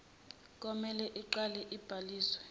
komele iqale ibhaliswe